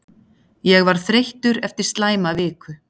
Ég var þreyttur eftir slæma viku.